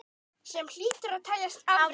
Sem hlýtur að teljast afrek.